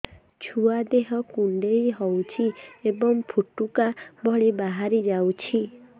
ଛୁଆ ଦେହ କୁଣ୍ଡେଇ ହଉଛି ଏବଂ ଫୁଟୁକା ଭଳି ବାହାରିଯାଉଛି